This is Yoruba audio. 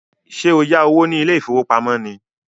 Ṣé o yá owó ní ilé ìfowópamọ́ ni?